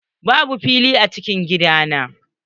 Babu fili a cikin gidan nan.